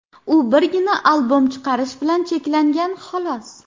U birgina albom chiqarish bilan cheklangan, xolos.